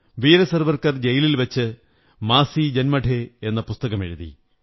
വീര സവര്ക്കാർ ജയിലിൽ വച്ച് മാസീ ജന്മഠേ എന്ന പുസ്തകമെഴുതി